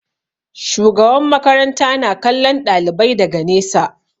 Shugaban makaranta na kallon ɗalibai daga nesa.